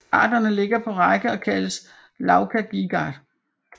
Kraterne ligger på række og kaldes Lakagìgar